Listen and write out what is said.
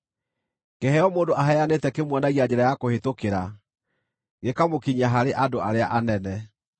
Kĩheo mũndũ aheanĩte kĩmuonagia njĩra ya kũhĩtũkĩra, gĩkamũkinyia harĩ andũ arĩa anene.